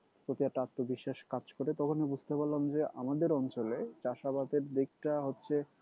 প্রতি একটা আত্মবিশ্বাস কাজ করে তখনই বুঝতে পারলাম যে আমাদের অঞ্চলে চাষাবাদের দিকটা হচ্ছে